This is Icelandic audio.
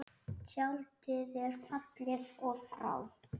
Tjaldið er fallið og frá.